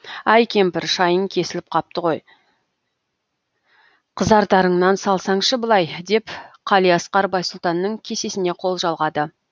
әй кемпір шайың кесіліп қапты ғой қызартарыңнан салсаңшы былай деп қалиасқар байсұлтанның кесесіне қол жалғады